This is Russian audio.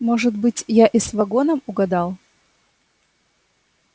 может быть я и с вагоном угадал